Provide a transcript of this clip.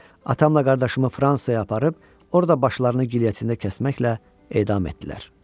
Atamla qardaşımı Fransaya aparıb orda başlarını gilyetində kəsməklə edam etdilər.